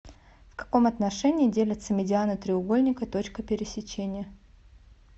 в каком отношении делятся медианы треугольника точкой пересечения